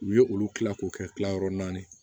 U ye olu kila k'o kɛ tilayɔrɔ naani ye